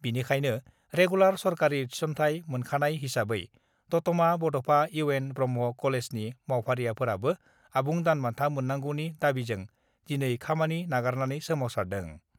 बेनिखायनो रेगुलार सरकारि थिसन्थाय मोनखानाय हिसाबै दतमा बड'फा इउ एन ब्रह्म कलेजनि मावफारियाफोराबो आबुं दान बान्था मोन्नांगौनि दाबिजों दिनै खामानि नागारनानै सोमावसारदों।